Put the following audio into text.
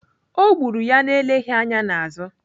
Ọ gburu ya na-eleghị anya n'azụ.